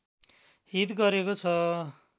हित गरेको छ